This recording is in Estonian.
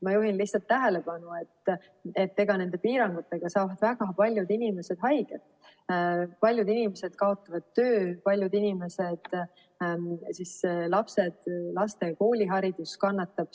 Ma juhin lihtsalt tähelepanu, et nende piirangutega saavad väga paljud inimesed haiget, paljud inimesed kaotavad töö, laste kooliharidus kannatab.